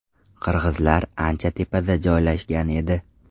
Qirg‘izlar ancha tepada joylashgan edi.